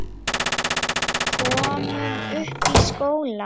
Komum upp í skóla!